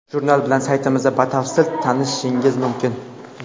Jurnal bilan saytimizda batafsil tanishishingiz mumkin.